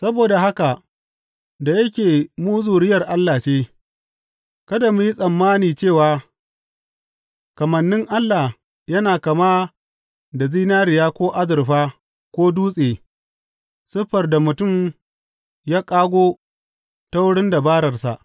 Saboda haka da yake mu zuriyar Allah ce, kada mu yi tsammani cewa kamannin Allah yana kama da zinariya ko azurfa ko dutse, siffar da mutum ya ƙago ta wurin dabararsa.